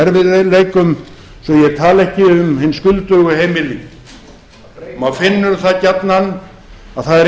erfiðleikum svo ég tali ekki um hin skuldugu heimili maður finnur það gjarnan að það er